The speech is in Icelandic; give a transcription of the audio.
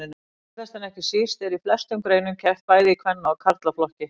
Síðast en ekki síst er í flestum greinum keppt bæði í kvenna og karlaflokki.